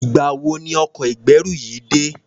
Ìgbà wo ni ọkọ̀ ìgbẹ́rù yìí dé?